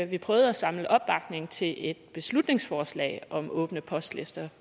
vi prøvede at samle opbakning til et beslutningsforslag om åbne postlister